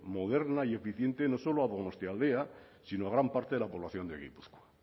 moderna y eficiente no solo a donostialdea sino a gran parte de la población de gipuzkoa